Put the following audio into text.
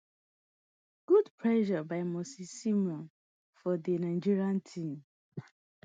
good pressure by moses simon for di nigerian team